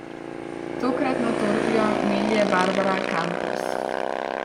Tokratno Torkljo melje Barbara Kampos.